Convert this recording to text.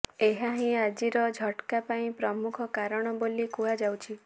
ଏହା ହିଁ ଆଜିର ଝଟ୍କା ପାଇଁ ପ୍ରମୁଖ କାରଣ ବୋଲି କୁହାଯାଉଛି